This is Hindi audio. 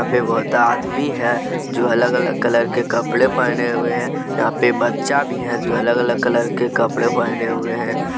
पे बहुत आदमी है जो अलग अलग कलर के कपड़े पहने हुए हैं यहां पे बच्चा भी है जो अलग अलग कलर के कपड़े पहने हुए हैं।